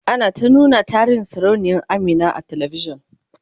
ana ta nuna tarihin sarauniya Amina a talavishan